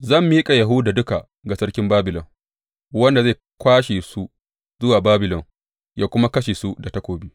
Zan miƙa Yahuda duka ga sarkin Babilon, wanda zai kwashe su zuwa Babilon ya kuma kashe su da takobi.